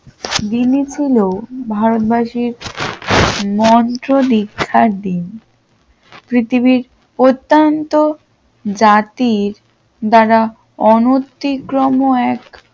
ভারতবর্ষের মন্ত্র দীক্ষার দিন পৃথিবীর অত্যন্ত জাতির দ্বারা অনথিক্রম এক